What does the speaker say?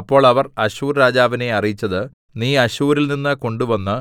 അപ്പോൾ അവർ അശ്ശൂർ രാജാവിനെ അറിയിച്ചത് നീ അശ്ശൂരിൽനിന്ന് കൊണ്ടുവന്ന്